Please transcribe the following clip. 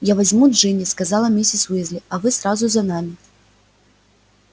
я возьму джинни сказала миссис уизли а вы сразу за нами